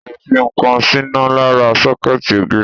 O lè fi ǹkan síná lára sọ́kẹ́ẹ̀tì ògiri.